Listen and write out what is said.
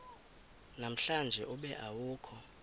namhlanje ube awukho